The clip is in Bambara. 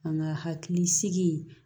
An ka hakili sigi